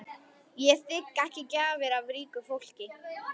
Ég þigg ekki gjafir af ríku fólki.